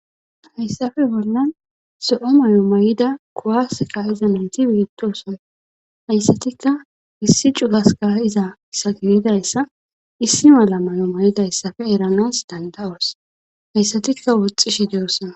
hayssafe bolnan so7o may7o may7ida kowaska izameyti wiettosona hayssatikka issi cugaska iza sagilidayssa issi mala may7o may7idayssafe eranas danda7os hayssatikka woxxishe deyosona